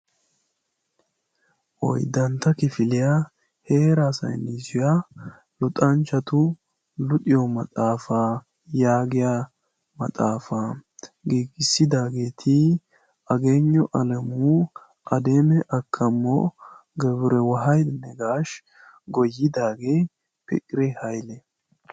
Oyddantta kifiliya heeraa saynissiya luxanchchati luxiyo maxaafa giigissidaageeti Ageyinyu Alemu, Ademi Akamo, Gabrewahedi Negash. Goyyidaage Fikire Hayle.